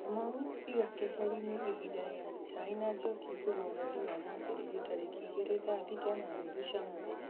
kamau iga keheri-inĩ ihinda rĩa cai na njoki kuma mweri wa mwambĩrĩrio tarĩki igĩrĩ thaa thita na nuthu cia mũthenya